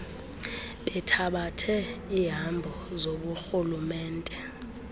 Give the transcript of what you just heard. bethabathe iihambo zoburhulumente